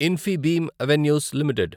Infibeam Avenues limited